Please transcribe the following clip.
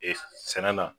Ee sɛnɛ na